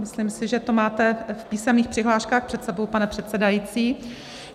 Myslím si, že to máte v písemných přihláškách před sebou, pane předsedající.